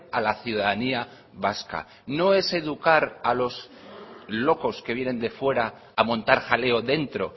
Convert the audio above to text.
a la ciudadanía vasca no es educar a los locos que vienen de fuera a montar jaleo dentro